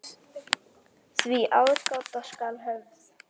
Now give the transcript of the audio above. Því aðgát skal höfð.